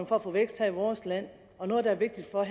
for at få vækst her i vores land og noget der er vigtigt for